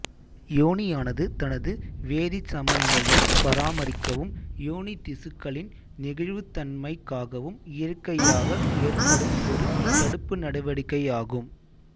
யோனியானது தனது வேதிச்சமநிலையைப் பராமரிக்கவும் யோனித்திசுக்களின் நெகிழ்வுத்தன்மைக்காவும் இயற்கையாக ஏற்படும் ஒரு தடுப்பு நடவடிக்கையாகும்